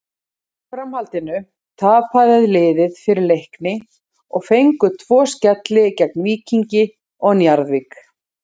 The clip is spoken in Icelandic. Í framhaldinu tapaði liðið fyrir Leikni og fengu tvo skelli gegn Víkingi og Njarðvík.